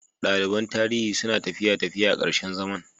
Daliban Tarihi suna tafiya Tafiya a ƙarshen zaman.